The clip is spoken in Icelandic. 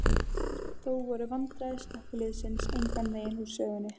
Þó voru vandræði slökkviliðsins engan veginn úr sögunni.